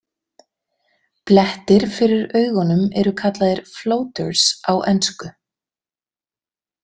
Blettir fyrir augunum eru kallaðir „floaters“ á ensku.